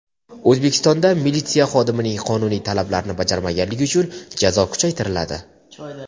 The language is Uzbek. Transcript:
O‘zbekistonda militsiya xodimining qonuniy talablarini bajarmaganlik uchun jazo kuchaytiriladi.